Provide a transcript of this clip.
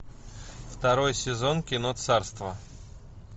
второй сезон кино царство